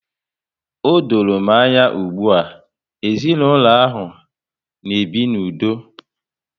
O dọrọ m anya ugbua, ezinaụlọ ahụ na-ebi n'udo